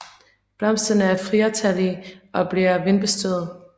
Blomsterne er firetallige og bliver vindbestøvet